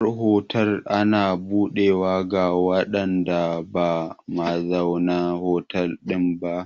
Mashayar otal ana buɗewa ga waɗanda ba mazaunan hotel ɗin ba.